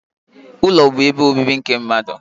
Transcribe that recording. Ụlọ bu ebe obibi nke mmadụ